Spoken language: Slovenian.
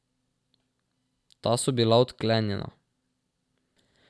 Ta so bila odklenjena.